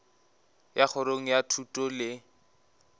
ya kgorong ya thuto le